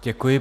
Děkuji.